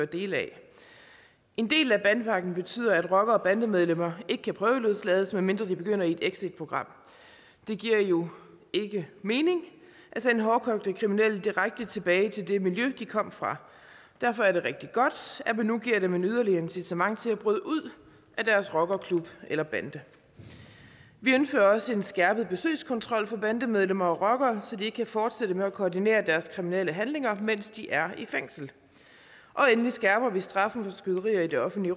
dele af en del af bandepakken betyder at rockere og bandemedlemmer ikke kan prøveløslades medmindre de begynder i et exitprogram det giver jo ikke mening at sende hårdkogte kriminelle direkte tilbage til det miljø de kom fra derfor er det rigtig godt at man nu giver dem et yderligere incitament til at bryde ud af deres rockerklub eller bande vi indfører også en skærpet besøgskontrol for bandemedlemmer og rockere så de ikke kan fortsætte med at koordinere deres kriminelle handlinger mens de er i fængsel endelig skærper vi straffen for skyderier i det offentlige